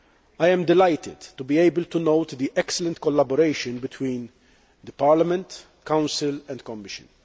I am delighted to be able to note the excellent collaboration between Parliament, the Council and the Commission.